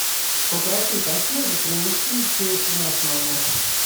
попроси консьержа принести сейф в наш номер